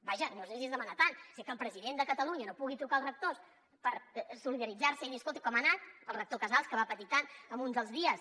vaja no sé si és demanar tant si que el president de catalunya no pugui trucar els rectors per solidaritzar se i dir escolti com ha anat al rector casals que va patir tant un dels dies